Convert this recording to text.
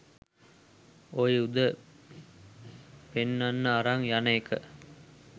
ඔය යුද පෙන්නන්න අරන් යන එක